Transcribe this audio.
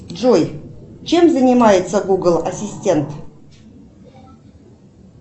джой чем занимается гугл ассистент